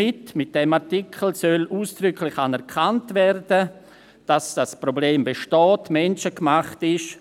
Mit diesem Artikel soll ausdrücklich anerkannt werden, dass dieses Problem besteht und menschengemacht ist.